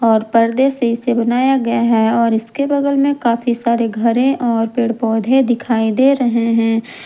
और पर्दे से इसे बनाया गया है और इसके बगल में काफी सारे घरे है और पेड़ पौधे दिखाई दे रहे हैं।